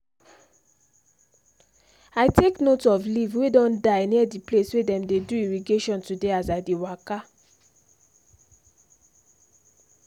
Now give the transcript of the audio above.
i take note of leave wey don die near the place wey them dey do irrigation today as i dey waka